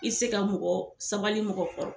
I se ka mɔgɔ sabali mɔgɔ kɔrɔ